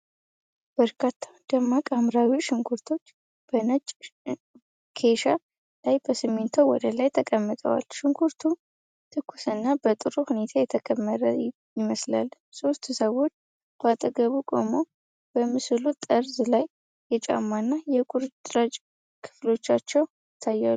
በርካታ ደማቅ ሐምራዊ ሽንኩርቶች በነጭ ኬሻ ላይ በሲሚንቶ ወለል ላይ ተቀምጠዋል። ሽንኩርቱ ትኩስና በጥሩ ሁኔታ የተከመረ ይመስላል። ሦስት ሰዎች በአጠገቡ ቆመው፣ በምስሉ ጠርዝ ላይ የጫማና የቁርጭምጭሚት ክፍሎቻቸው ይታያሉ።